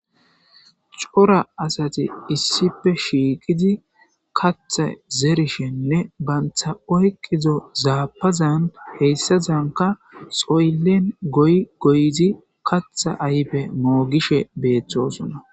Cora asayi issippe shiiqidi kaathi zerishenne banti oykido zaapazan hesadanka sooli goyi goyidi kaatha ayfe moogishe beetosona.